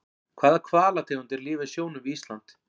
Hvaða hvalategundir lifa í sjónum við Ísland?